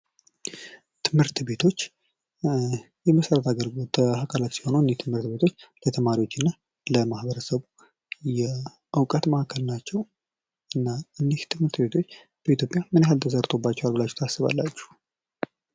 ትምህርት ቤቶች የመሠረተ ልማት አካላቶች ሲሆኑ እኝህ ትምህርት ቤቶች ለተማሪዎችና ለማህበረሰቡ የእውቀት ማዕከል ናቸው ። እና እኝህ ትምህርት ቤቶች በኢትዮጵያ ምን ያክል ተሰርቶባቸዋል ብላችሁ ታስባላችሁ ?